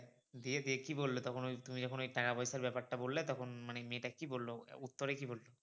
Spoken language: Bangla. দিয়ে দিয়ে কী বললো তখন ওই তুমি যখন ওই টাকা পয়সার ব্যাপার টা বললে তখন মানে মেয়েটা কী বললো উত্তরে কী বললো?